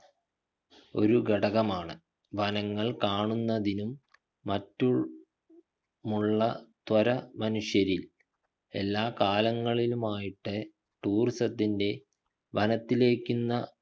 ഒരു ഘടകമാണ് വനങ്ങൾ കാണുന്നതിനും മറ്റും മുള്ള ത്വര മനുഷ്യരിൽ എല്ലാകാലങ്ങളിലും ആയിട്ട് tourism ത്തിൻ്റെ വനത്തിലേക്ക്ന്ന